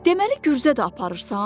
Deməli gürzə də aparırsan?